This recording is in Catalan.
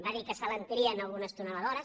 va dir que s’alentirien algunes tuneladores